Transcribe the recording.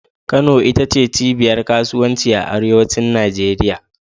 Kano ita ce cibiyar kasuwanci a arewacin Najeriya